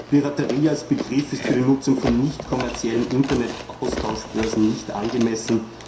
Piraterie als Begriff ist für die Nutzung von nicht kommerziellen Internetaustauschbörsen nicht angemessen.